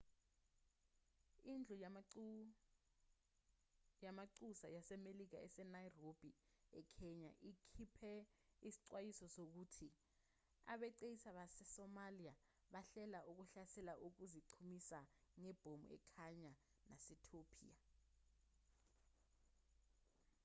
indlu yamanxusa yasemelika ese-nairobi ekenya ikhipe isixwayiso sokuthi abeqisi base-somalia bahlela ukuhlasela ngokuziqhumisa ngebhomu ekenya nasetopiya